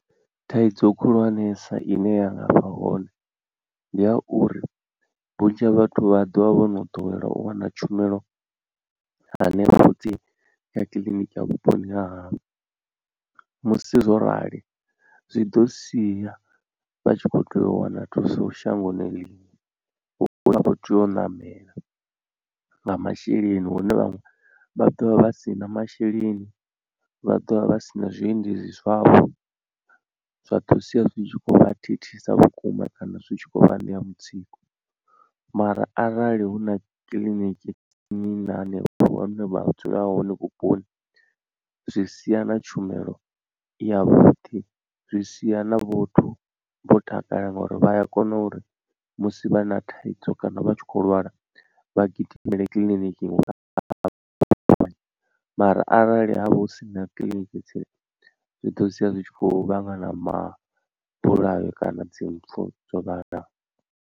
Thaidzo khulwanesa ine ya nga vha hone ndi ya uri vhunzhi ha vhathu vha ḓovha vho no ḓowela u wana tshumelo hanefho tsini kha kiḽiniki ya vhuponi ha havho. Musi zwo rali zwi ḓo sia vha tshi kho tea u wana thuso shangoni ḽiṅwe hune vha khou tea u ṋamela nga masheleni hune vhaṅwe vha ḓovha vha si na masheleni, vha ḓovha vha sina zwiendedzi zwavho zwa ḓo sia zwi tshi khou vha thithisa vhukuma kana zwi tshi khou vha ṋea mutsiko. Mara arali huna kiḽiniki ya nnyi na nnyi hanevho vhane vha dzula hone vhuponi zwi sia na tshumelo i yavhuḓi zwi sia na vhathu vho takala ngori vhaya kona uri musi vha na thaidzo kana vha tshi kho lwala vha gidimele kiḽiniki mara arali ha vha hu sina kiḽiniki tsini zwi ḓo sia zwi tshi khou vhangana ma bulayo kana dzi mpfu dzo vhalaho.